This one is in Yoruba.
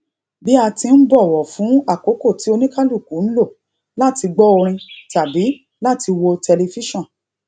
bí a ti n bọwọ fún àkókò tí oníkálùkù lò láti gbó orin tàbí láti wo tẹlifíṣòn